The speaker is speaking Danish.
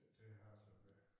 Til Haderslev og tilbage